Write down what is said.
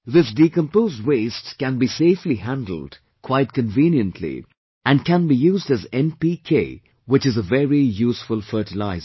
This decomposed waste can be safely handled quite conveniently and can be used as 'NPK' which is a very useful fertilizer